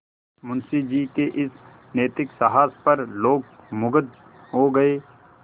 मुंशी जी के इस नैतिक साहस पर लोग मुगध हो गए